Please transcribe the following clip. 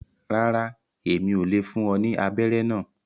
Ràrá, Èmí ò le fún ọ ní abẹrẹ náà